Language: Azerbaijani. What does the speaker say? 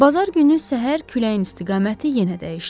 Bazar günü səhər küləyin istiqaməti yenə dəyişdi.